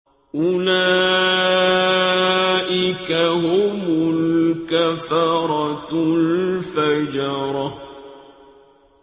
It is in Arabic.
أُولَٰئِكَ هُمُ الْكَفَرَةُ الْفَجَرَةُ